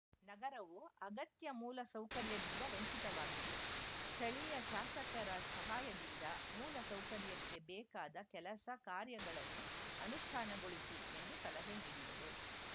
ನಗರವು ಅಗತ್ಯ ಮೂಲ ಸೌಕರ್ಯದಿಂದ ವಂಚಿವಾಗಿದೆ ಸ್ಥಳಿಯ ಶಾಸಕರ ಸಹಾಯದಿಂದ ಮೂಲ ಸೌಕರ್ಯಕ್ಕೆ ಬೇಕಾದ ಕೆಲಸ ಕಾರ್ಯಗಳನ್ನು ಅನುಷ್ಠಾನಗೊಳಿಸಿ ಎಂದು ಸಲಹೆ ನೀಡಿದರು